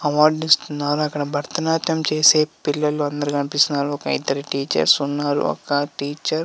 Award ఇస్తున్నారు. అక్కడ భరతనాట్యం చేసే పిల్లలందరూ కనిపిస్తున్నారు. ఒక ఇద్దరు టీచర్లు ఉన్నారు. ఒక టీచర్ --